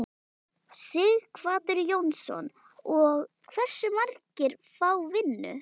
Sighvatur Jónsson: Og hversu margir fá vinnu?